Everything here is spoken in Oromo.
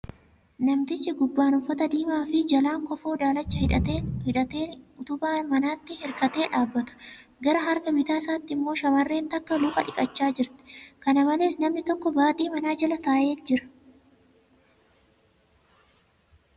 Namtichi gubbaan uffata diimaa fi jalaan kofoo daalacha hidhatee niru utubaa mamaatti hirkatee dhaabbata. Garaa harka bitaa isaatti immoo shamarreen takka luka dhiqachaa jirti . Kana malees, namni tokko baaxii manaa jala taa'ee nira.